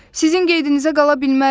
Sizin qeydinizə qala bilmərəm.